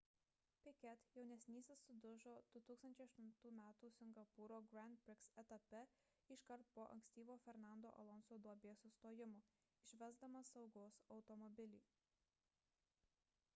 piquet jaunesnysis sudužo 2008 m singapūro grand prix etape iškart po ankstyvo fernando alonso duobės sustojimo išvesdamas saugos automobilį